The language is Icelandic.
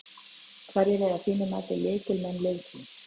Hverjir eru að þínu mati lykilleikmenn liðsins?